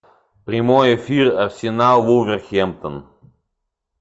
прямой эфир арсенал вулверхэмптон